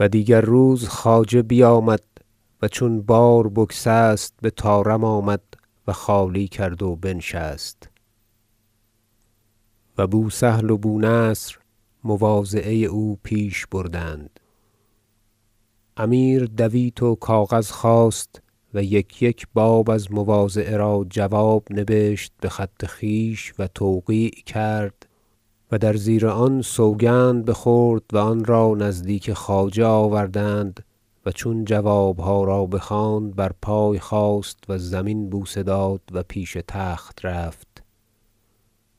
و دیگر روز خواجه بیامد و چون بار بگسست بطارم آمد و خالی کرد و بنشست و بو سهل و بو نصر مواضعه او پیش بردند امیر دویت و کاغذ خواست و یک یک باب از مواضعه را جواب نبشت بخط خویش و توقیع کرد و در زیر آن سوگند بخورد و آن را نزدیک خواجه آوردند و چون جوابها را بخواند برپای خاست و زمین بوسه داد و پیش تخت رفت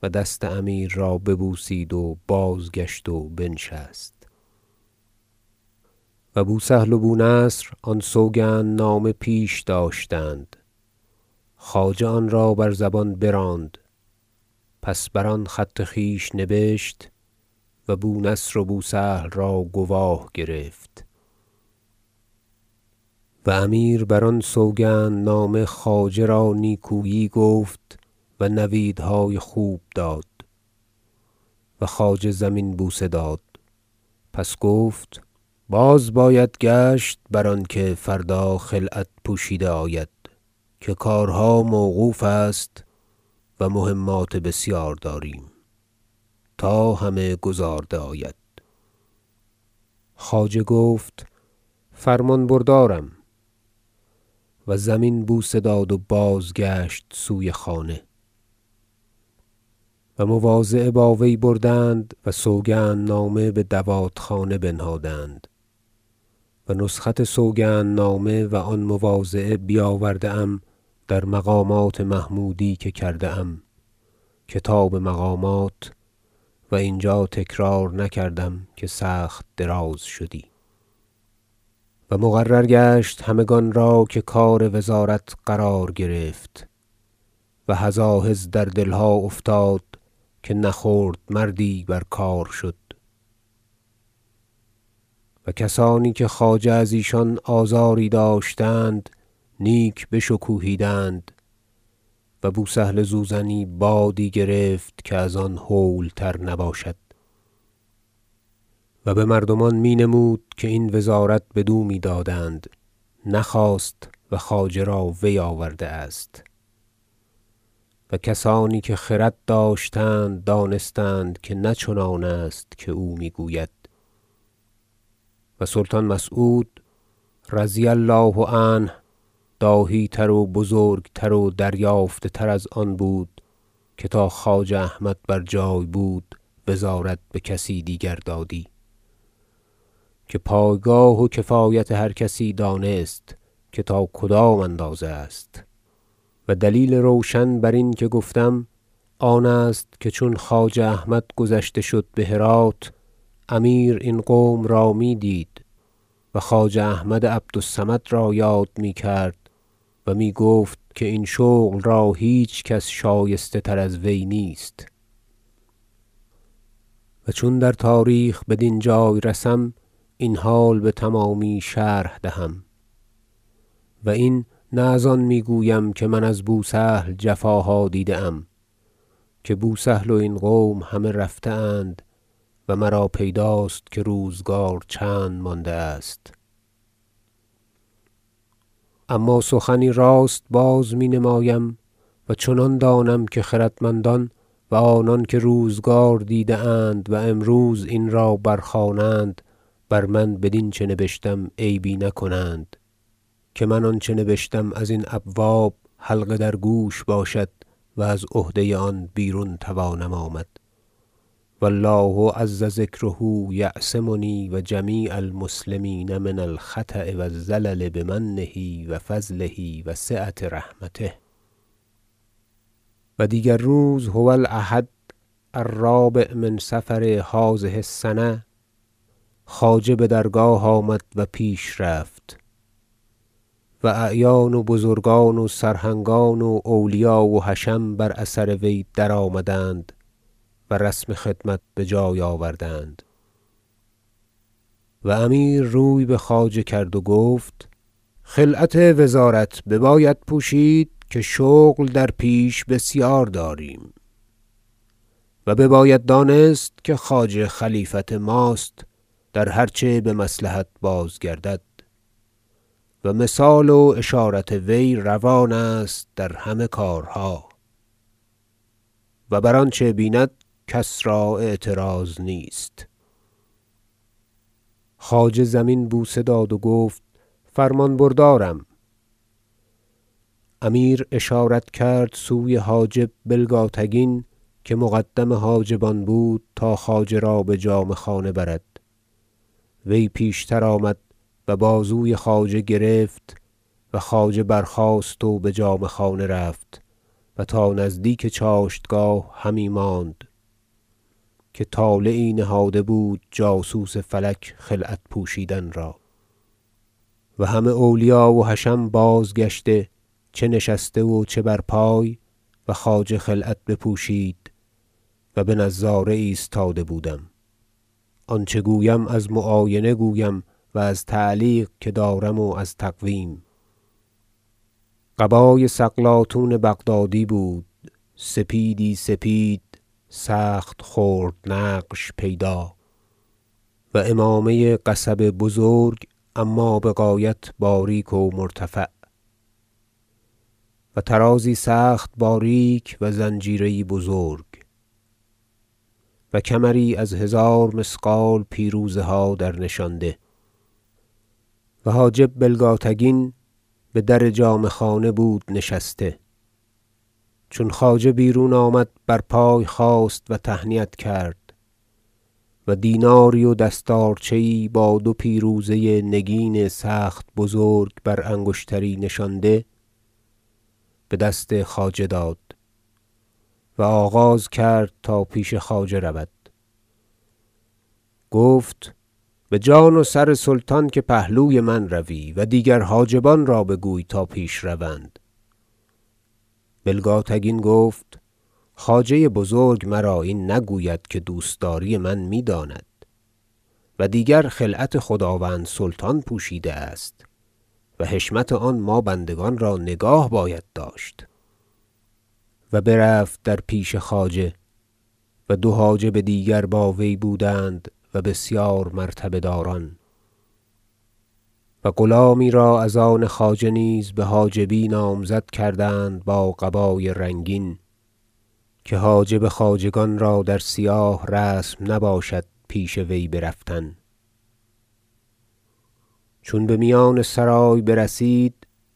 و دست امیر را ببوسید و بازگشت و بنشست و بو سهل و بو نصر آن سوگندنامه پیش داشتند خواجه آن را بر زبان براند پس بر آن خط خویش نبشت و بو نصر و بو سهل را گواه گرفت و امیر بر آن سوگندنامه خواجه را نیکویی گفت و نویدهای خوب داد و خواجه زمین بوسه داد پس گفت باز باید گشت بر آنکه فردا خلعت پوشیده آید که کارها موقوف است و مهمات بسیار داریم تا همه گزارده آید خواجه گفت فرمان بردارم و زمین بوسه داد و بازگشت سوی خانه و مواضعه با وی بردند و سوگندنامه بدوات خانه بنهادند و نسخت سوگندنامه و آن مواضعه بیاورده ام در مقامات محمودی که کرده ام کتاب مقامات و اینجا تکرار نکردم که سخت دراز شدی و مقرر گشت همگان را که کار وزارت قرار گرفت و هزاهز در دلها افتاد که نه خرد مردی بر کار شد و کسانی که خواجه از ایشان آزاری داشت نیک بشکوهیدند و بو سهل زوزنی بادی گرفت که از آن هول تر نباشد و بمردمان می نمود که این وزارت بدو میدادند نخواست و خواجه را وی آورده است و کسانی که خرد داشتند دانستند که نه چنان است که او میگوید و سلطان مسعود رضی الله عنه داهی تر و بزرگتر و دریافته تر از آن بود که تا خواجه احمد بر جای بود وزارت بکسی دیگر دادی که پایگاه و کفایت هر کسی دانست که تا کدام اندازه است و دلیل روشن برین که گفتم آن است که چون خواجه احمد گذشته شد بهرات امیر این قوم را میدید و خواجه احمد عبد الصمد را یاد میکرد و میگفت که این شغل را هیچ- کس شایسته تر از وی نیست و چون در تاریخ بدین جای رسم این حال بتمامی شرح دهم و این نه از آن میگویم که من از بو سهل جفاها دیده ام که بو سهل و این قوم همه رفته اند و مرا پیداست که روزگار چند مانده است اما سخنی راست بازمینمایم و چنان دانم که خردمندان و آنانکه روزگار دیده اند و امروز این را برخوانند بر من بدین چه نبشتم عیبی نکنند که من آنچه نبشتم از این ابواب حلقه در گوش باشد و از عهده آن بیرون توانم آمد و الله عز ذکره یعصمنی و جمیع المسلمین من الخطأ و الزلل بمنه و فضله و سعة رحمته و دیگر روز- هو الاحد الرابع من صفر هذه السنة - خواجه بدرگاه آمد و پیش رفت و اعیان و بزرگان و سرهنگان و اولیا و حشم بر اثر وی درآمدند و رسم خدمت بجای آوردند و امیر روی بخواجه کرد و گفت خلعت وزارت بباید پوشید که شغل در پیش بسیار داریم و بباید دانست که خواجه خلیفت ماست در هرچه بمصلحت بازگردد و مثال و اشارت وی روان است در همه کارها و بر آنچه بیند کس را اعتراض نیست خواجه زمین بوسه داد و گفت فرمان بردارم امیر اشارت کرد سوی حاجب بلگاتگین که مقدم حاجبان بود تا خواجه را بجامه خانه برد وی پیشتر آمد و بازوی خواجه گرفت و خواجه برخاست و بجامه خانه رفت و تا نزدیک چاشتگاه همی ماند که طالعی نهاده بود جاسوس فلک خلعت پوشیدن را و همه اولیا و حشم بازگشته چه نشسته و چه برپای و خواجه خلعت بپوشید- و بنظاره ایستاده بودم آنچه گویم از معاینه گویم و از تعلیق که دارم و از تقویم - قبای سقلاطون بغدادی بود سپیدی سپید سخت خرد نقش پیدا و عمامه قصب بزرگ اما بغایت باریک و مرتفع و طرازی سخت باریک و زنجیره یی بزرگ و کمری از هزار مثقال پیروزه ها در نشانده و حاجب بلگاتگین بدر جامه خانه بود نشسته چون خواجه بیرون آمد برپای خاست و تهنیت کرد و دیناری و دستارچه یی با دو پیروزه نگین سخت بزرگ بر انگشتری نشانده بدست خواجه داد و آغاز کرد تا پیش خواجه رود گفت بجان و سر سلطان که پهلوی من روی و دیگر حاجبان را بگوی تا پیش روند بلگاتگین گفت خواجه بزرگ مرا این نگوید که دوستداری من میداند و دیگر خلعت خداوند سلطان پوشیده است و حشمت آن ما بندگان را نگاه باید داشت و برفت در پیش خواجه و دو حاجب دیگر با وی بودند و بسیار مرتبه- داران و غلامی را از آن خواجه نیز بحاجبی نامزد کردند با قبای رنگین که حاجب خواجگان را در سیاه رسم نباشد پیش وی برفتن چون بمیان سرای برسید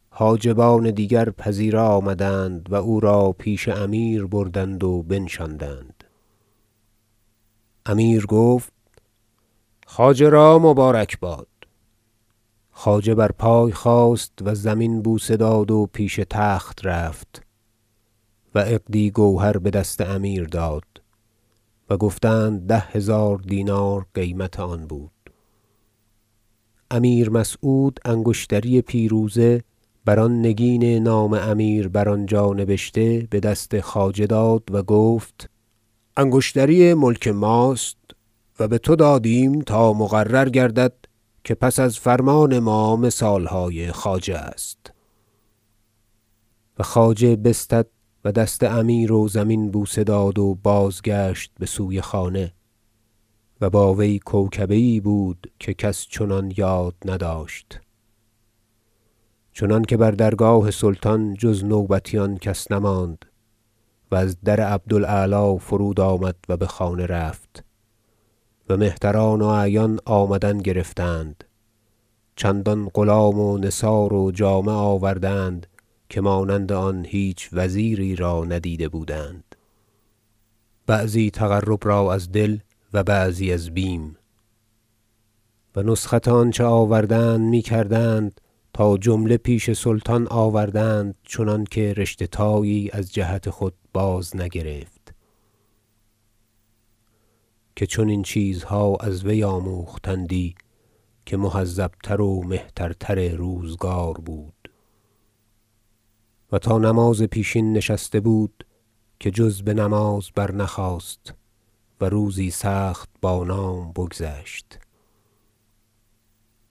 حاجبان دیگر پذیره آمدند و او را پیش امیر بردند و بنشاندند امیر گفت خواجه را مبارکباد خواجه برپای خواست و زمین بوسه داد و پیش تخت رفت و عقدی گوهر بدست امیر داد و گفتند ده هزار دینار قیمت آن بود امیر مسعود انگشتری پیروزه بر آن نگین نام امیر بر آنجا نبشته بدست خواجه داد و گفت انگشتری ملک ماست و بتو دادیم تا مقرر گردد که پس از فرمان ما مثالهای خواجه است و خواجه بستد و دست امیر و زمین بوسه داد و بازگشت بسوی خانه و با وی کوکبه یی بود که کس چنان یاد نداشت چنانکه بر درگاه سلطان جز نوبتیان کس نماند و از در عبد الاعلی فرود آمد و بخانه رفت و مهتران و اعیان آمدن گرفتند چندان غلام و نثار و جامه آوردند که مانند آن هیچ وزیری را ندیده بودند بعضی تقرب را از دل و بعضی از بیم و نسخت آنچه آوردند میکردند تا جمله پیش سلطان آوردند چنانکه رشته تایی از جهت خود بازنگرفت که چنین چیزها از وی آموختندی که مهذب تر و مهترتر روزگار بود و تا نماز پیشین نشسته بود که جز بنماز برنخاست و روزی سخت بانام بگذشت